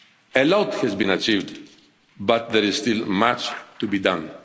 areas. A lot has been achieved but there is still much to be